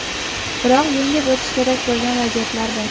Biroq yengib o‘tish kerak bo‘lgan vaziyatlar bor.